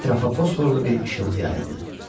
Ətrafa fosforlu bir işıltı yayıldı.